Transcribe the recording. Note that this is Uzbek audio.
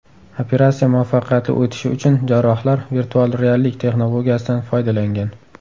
Operatsiya muvaffaqiyatli o‘tishi uchun jarrohlar virtual reallik texnologiyasidan foydalangan.